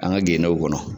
An ka gendew kɔnɔ